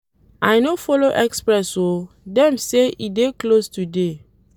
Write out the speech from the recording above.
I no folo express o, dem say e dey close today.